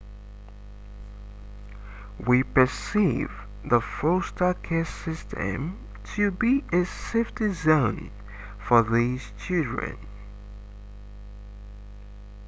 we perceive the foster care system to be a safety zone for these children